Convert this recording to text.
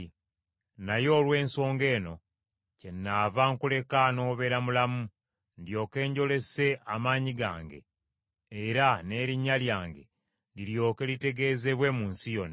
Naye olw’ensonga eno kyennava nkuleka n’obeera mulamu, ndyoke njolese amaanyi gange, era n’erinnya lyange liryoke litegeezebwe mu nsi yonna.